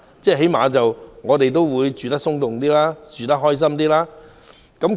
這可以讓我們居住得鬆動些、開心些。